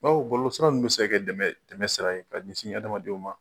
Bawo bɔlɔlɔsira ninnu bɛ se ka kɛ dɛmɛn dɛmɛnsira ye ka ɲɛsin adamadenw ma.